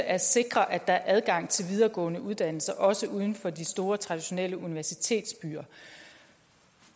at sikre at der er adgang til videregående uddannelser også uden for de store traditionelle universitetsbyer